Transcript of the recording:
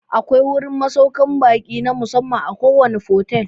Akwai wurin masaukan ba'i na musamman a kowane fotel